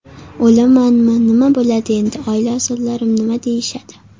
O‘lamanmi, nima bo‘ladi endi, oila a’zolarim nima deyishadi?